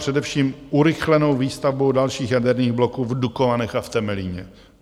Především urychlenou výstavbou dalších jaderných bloků v Dukovanech a v Temelíně.